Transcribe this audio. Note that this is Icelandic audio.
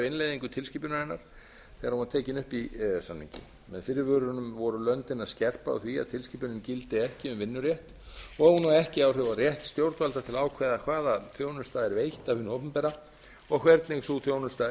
innleiðingu tilskipunarinnar þegar hún var tekin upp í e e s samninginn með fyrirvörunum voru löndin að skerpa á því að tilskipunin gildi ekki um vinnurétt og hún á ekki áhrif á rétt stjórnvalda til að ákveða hvaða þjónusta er veitt af hinu opinbera og hvernig sú þjónusta er